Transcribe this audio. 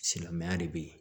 Silamɛya de be yen